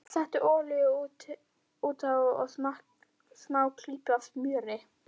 Settu olíu út á og smá klípu af smjöri.